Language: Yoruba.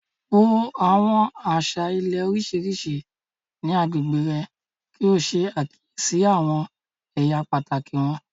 Wo àwọn àṣà ilé oríṣiríṣi ní agbègbè rẹ̀ kí o ṣe àkíyèsí àwọn ẹ̀yà pàtàkì wọn.